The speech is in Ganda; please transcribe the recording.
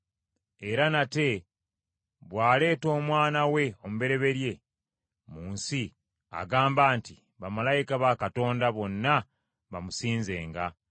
Era nate bw’aleeta Omwana we omubereberye mu nsi, agamba nti, “Bamalayika ba Katonda bonna bamusinzenga.”